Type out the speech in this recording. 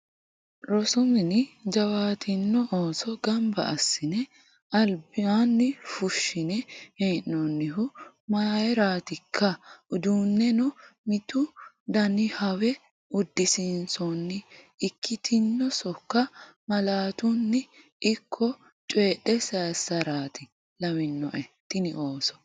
Rosu mine jawaatino ooso gamba assine albani fushine hee'nonihu mayratikka uduuneno mitu danihawe udisiisonni ikkitino sokko malaatuni ikko coyidhe saysarati lawinoe tini ooso.